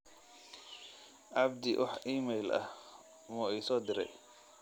abdi wax iimayl ah uu isoo diray